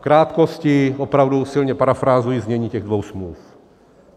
V krátkosti opravdu silně parafrázuji znění těch dvou smluv.